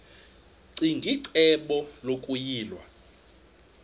ccinge icebo lokuyilwa